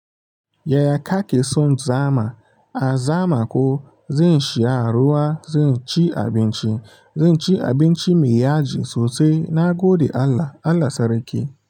Yaya ka ke son zama? A zama ko, zan sha ruwa, zan ci abinci, zan ci abinci mai yaji sosai na gode Allah, Allah sarki.